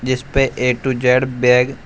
जिस पे A to Z bag --